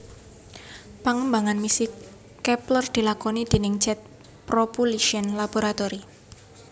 Pengembangan misi Kepler dilakoni déning Jet Propulsion Laboratory